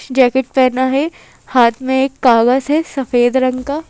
Jacket पहना है हाथ में एक कागज है सफेद रंग का।